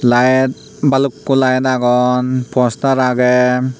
light balukko light agon poster agey.